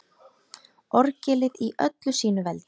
Orgelið í öllu sínu veldi.